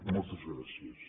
moltes gràcies